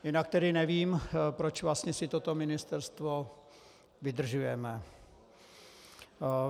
Jinak tedy nevím, proč vlastně si toto ministerstvo vydržujeme.